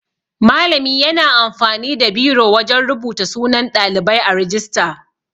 Malami yana amfani da biro wajan rubuta sunan Ɗalibai a rijista.